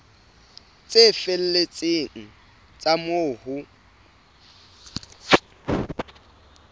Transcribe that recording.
tse felletseng tsa moo ho